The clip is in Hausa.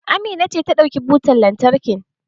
Amina ce ta ɗauki butan lantarkin.